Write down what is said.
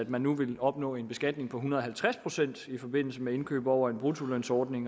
man nu vil opnå en beskatning på en hundrede og halvtreds procent i forbindelse med indkøb over en bruttolønsordning